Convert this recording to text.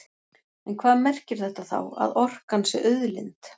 En hvað merkir þetta þá, að orkan sé auðlind?